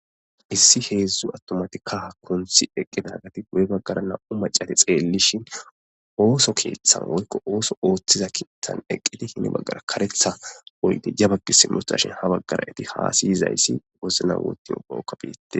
issi heedzdzu attomatikka ha kunthi eqqida gati guye baggaranna umacati xeellishin ooso keeththan woykko ooso ooththiza kiittan eqqiti hini baggara karetha oyde jaba kisimotashin ha baggara eti ha siyizayssi wozna woti ubbawokka biitte